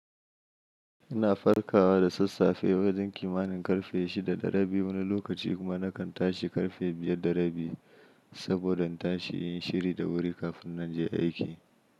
Ina farkawa da sassafe wajen kimanin karfe shida da rabi, wani lokaci kuma nakan tashi karfe biyar da rabi saboda tashi yin shiri da wuri kafin na je aiki.